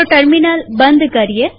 terminal બંધ કરીએ